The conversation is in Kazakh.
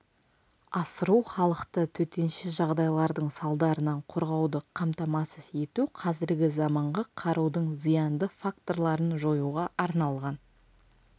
асыру халықты төтенше жағдайлардың салдарынан қорғауды қамтамасыз ету қазіргі заманғы қарудың зиянды факторларын жоюға арналған